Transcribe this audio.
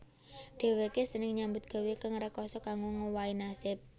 Dhèwèké seneng nyambut gawé kang rekasa kanggo ngowahi nasib